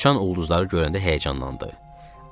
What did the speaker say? Uçan ulduzları görəndə həyəcanlandı.